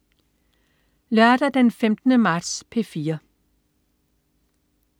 Lørdag den 15. marts - P4: